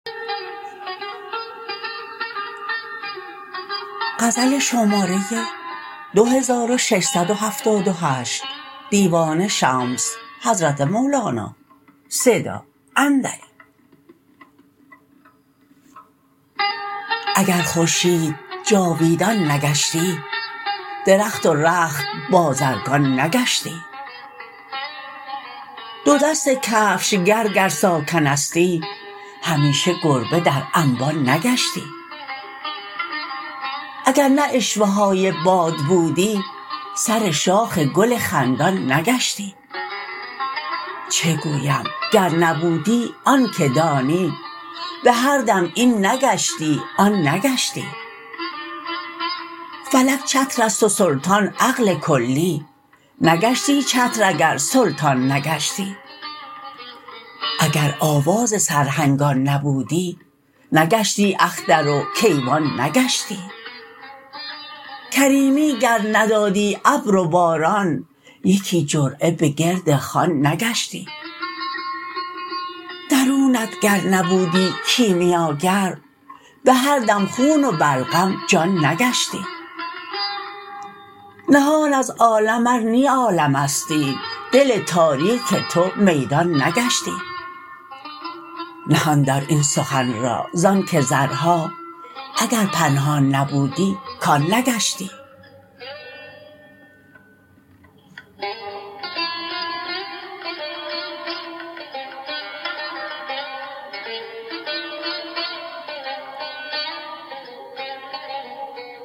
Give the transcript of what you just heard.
اگر خورشید جاویدان نگشتی درخت و رخت بازرگان نگشتی دو دست کفشگر گر ساکنستی همیشه گربه در انبان نگشتی اگر نه عشوه های باد بودی سر شاخ گل خندان نگشتی چه گویم گر نبودی آن که دانی به هر دم این نگشتی آن نگشتی فلک چتر است و سلطان عقل کلی نگشتی چتر اگر سلطان نگشتی اگر آواز سرهنگان نبودی نگشتی اختر و کیوان نگشتی کریمی گر ندادی ابر و باران یکی جرعه به گرد خوان نگشتی درونت گر نبودی کیمیاگر به هر دم خون و بلغم جان نگشتی نهان از عالم ار نی عالمستی دل تاریک تو میدان نگشتی نهان دار این سخن را ز آنک زرها اگر پنهان نبودی کان نگشتی